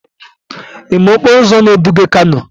Ị ma okporo ụzọ na-eduga kano?